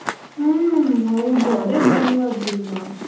ಹೂಮ್, ಹೌದು ಅದೇ ಬಂಗ ಆದ್ದು ಈಗ.